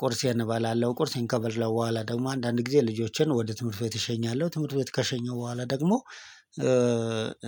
ቁርሴን እበላለሁ ቁርሴን ከበላሁ በኋላ ደግሞ አንዳንድ ጊዜ ልጆቼን ወደ ትምህርት ቤት እሸኛለሁ ትምህርት ቤት ከሸኘሁ በኋላ ደግሞ።